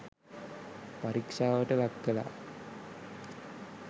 පරීක්ෂාවට ලක් කලා.